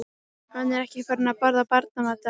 Hann er ekki farinn að borða barnamat, afi.